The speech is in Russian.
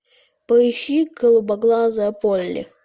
поищи голубоглазая полли